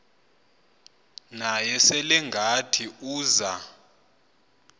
naye selengathi uza